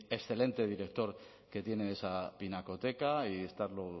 excelente director que tiene esa pinacoteca y estar